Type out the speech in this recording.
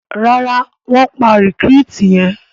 Ràrá wón pá recruit yén.